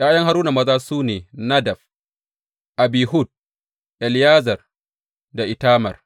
’Ya’yan Haruna maza su ne Nadab, Abihu, Eleyazar da Itamar.